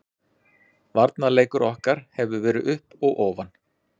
Varnarleikur okkar hefur verið upp og ofan.